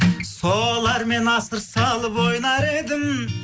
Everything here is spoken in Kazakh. солармен асыр салып ойнар едім